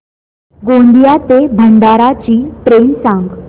गोंदिया ते भंडारा ची ट्रेन सांग